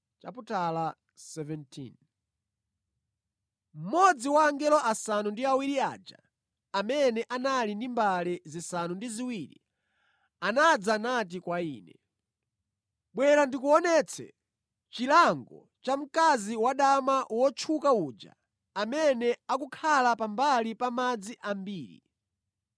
Mmodzi wa angelo asanu ndi awiri aja amene anali ndi mbale zisanu ndi ziwiri anadza nati kwa ine, “Bwera ndikuonetse chilango cha mkazi wadama wotchuka uja amene akukhala pambali pa madzi ambiri.